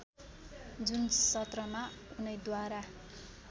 जुन सत्रमा उनैद्वारा